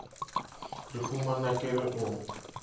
re humana ke re o